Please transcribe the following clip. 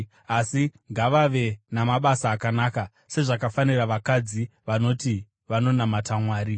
asi ngavave namabasa akanaka, sezvakafanira vakadzi vanoti vanonamata Mwari.